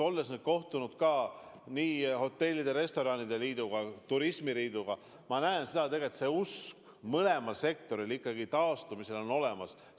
Olles kohtunud nii hotellide ja restoranide liiduga kui turismifirmade liiduga, ma olen näinud, et tegelikult usk taastumisse on mõlemal sektoril olemas.